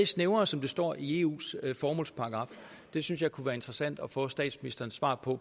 snæver som der står i eus formålsparagraf det synes jeg kunne være interessant at få statsministerens svar på